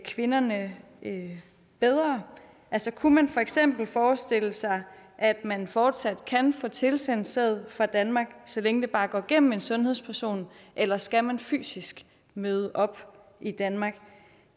kvinderne bedre altså kunne man for eksempel forestille sig at man fortsat kan få tilsendt sæd fra danmark så længe det bare går gennem en sundhedsperson eller skal man fysisk møde op i danmark